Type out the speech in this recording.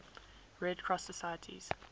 red cross societies